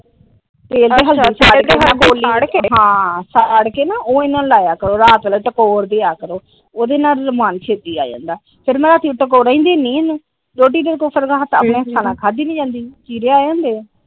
ਤੇਲ ਤੇ ਹਲਦੀ . ਸਾੜ ਕੇ ਉਹ ਇਹਨਾਂ ਨੂੰ ਲਾਇਆ ਕਰੋ ਰਾਤ ਵੇਲੇ ਟਗੋਰ ਦਿਆਂ ਕਰੋ ਉਦੇ ਨਾਲ ਅਰਾਮ ਛੇਤੀ ਆ ਜਾਂਦਾ ਫਿਰ ਰਾਤੀ ਟੈਗੋਰਾ ਦਿੰਦੀ ਇਹਨੂੰ ਰੋਟੀ ਤਾ ਇਹਦੇ ਕੋਲੋਂ ਆਪਣੇ ਹੱਥਾਂ ਨਾਲ ਖਾਦੀ ਨੀ ਜਾਂਦੀ ਚੀਰੇ ਆਏ ਹੁੰਦੇ ।